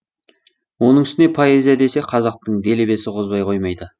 оның үстіне поэзия десе қазақтың делебесі қозбай қоймайды